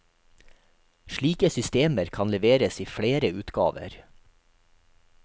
Slike systemer kan leveres i flere utgaver.